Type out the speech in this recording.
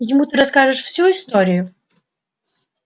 ему ты расскажешь всю историю